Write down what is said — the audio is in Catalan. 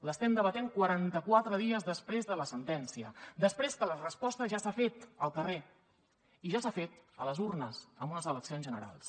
l’estem debatent quaranta quatre dies després de la sentència després que la resposta ja s’ha fet al carrer i ja s’ha fet a les urnes amb unes eleccions generals